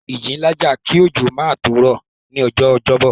Ìjì ńlá jà kí òjò náà tó rọ̀ ní ọjọ́ Ọjọ́bọ̀